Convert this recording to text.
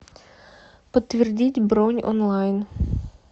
подтвердить бронь онлайн